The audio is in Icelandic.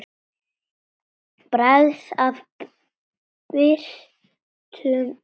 Bragð af bitrum landa.